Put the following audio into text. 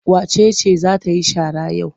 Wace ce za ta yi shara yau?